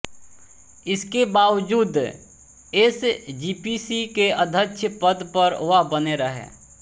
इसके बावजूद एसजीपीसी के अध्यक्ष पद पर वह बने रहे